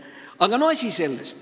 Aga no see selleks.